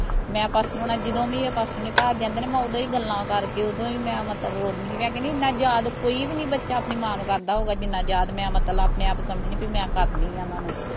ਮੈਂ ਪਾਸਟਰ ਆਉਣਾ ਜਦੋਂ ਵੀ ਆ ਪਾਸਟਰ ਹੁਣੀ ਘਰ ਜਾਂਦੇ ਨਾ ਮੈਂ ਉਦੋਂ ਹੀ ਗੱਲਾਂ ਕਰਕੇ ਉਦੋਂ ਹੀ ਮੈਂ ਮਤਲਬ ਰੋਨੀ ਮੈਂ ਕਹਿਣੀ ਐਨਾ ਯਾਦ ਕੋਈ ਵੀ ਨਹੀਂ ਬੱਚਾ ਆਪਣੀ ਮਾਂ ਨੂੰ ਕਰਦਾ ਹੁਣਾ ਜਿੰਨਾਂ ਯਾਦ ਮੈਂ ਮਤਲਬ ਆਪਣੇ ਆਪ ਨੂੰ ਸਮਝਨੀ ਮੈਂ ਕਰਦੀ ਆਂ ਓਹਨਾਂ ਨੂੰ